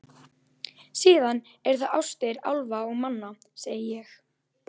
Síðan eru það ástir álfa og manna, segi ég.